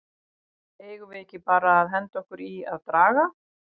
Eigum við ekki bara að henda okkur í að draga??